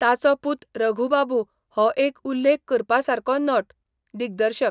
ताचो पूत रघु बाबू हो एक उल्लेख करपासारको नट, दिग्दर्शक.